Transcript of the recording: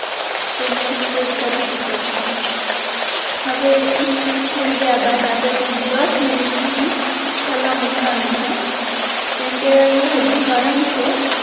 તેને સ્પ્રેડ કરી શકો છો હવે ઇ સ્પ્રેડ થઈ ગયા બાદ આપણે તેને ડસ મિનિટ સુધી ઠરવા મૂકવાનો છે કેમ કે ઈયા હજી ગરમ છે